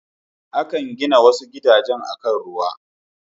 Akan gina wasu gidajen akan ruwa.